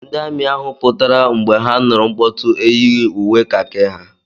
Ndị amị ahụ pụtara mgbe ha nụrụ mkpọtụ eyighị uwe kakị ha.